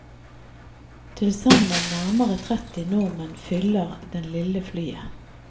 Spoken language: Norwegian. Tilsammen nærmere tretti nordmenn fyller det lille flyet.